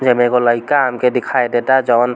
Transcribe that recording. येमें एगो लइका हमके दिखाई देता जौन --